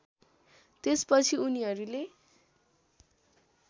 त्यसपछि उनीहरूले